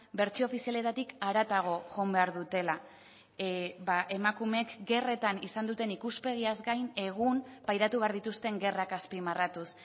bertsio ofizialetatik haratago joan behar dutela emakumeek gerretan izan duten ikuspegiaz gain egun pairatu behar dituzten gerrak azpimarratuz